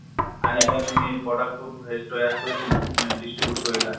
আনি পেলে তুমি product টো হেৰিtaiyar কৰি, তুমি distribute কৰিলা।